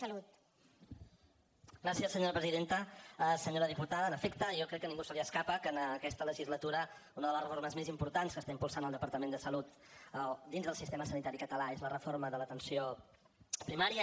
senyora diputada en efecte jo crec que a ningú se li escapa que en aquesta legislatura una de les reformes més importants que està impulsant el departament de salut dins del sistema sanitari català és la reforma de l’atenció primària